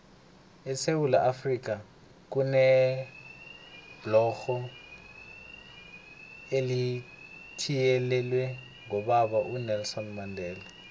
esewula afrika kunebhlorho elithiyelelwe ngobaba unelson mandela